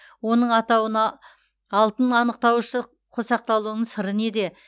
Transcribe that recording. оның атауына алтын анықтауышы қосақталуының сыры неде